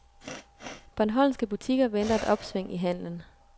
Bornholmske butikker venter et opsving i handelen.